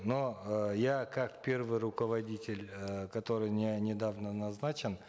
но э я как первый руководитель э который недавно назначен